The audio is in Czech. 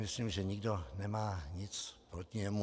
Myslím, že nikdo nemá nic proti němu.